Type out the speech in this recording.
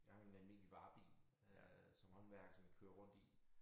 Jeg har jo en almindelig varebil øh som håndværker som jeg kører rundt i